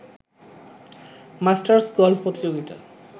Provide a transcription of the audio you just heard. masters golf প্রতিযোগিতা